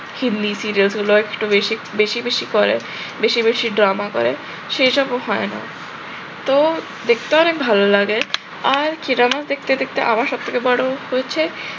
serial গুলো একটু বেশি বেশি বেশি করে, বেশি বেশি drama করে, সেসবও হয় না। তো দেখতে অনেক ভালো লাগে আর key drama দেখতে দেখতে আমার সব থেকে বড় হয়েছে